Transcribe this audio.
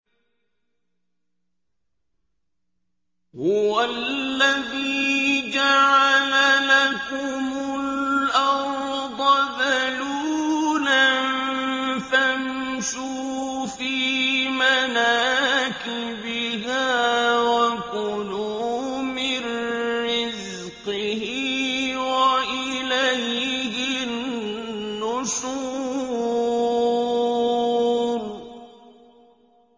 هُوَ الَّذِي جَعَلَ لَكُمُ الْأَرْضَ ذَلُولًا فَامْشُوا فِي مَنَاكِبِهَا وَكُلُوا مِن رِّزْقِهِ ۖ وَإِلَيْهِ النُّشُورُ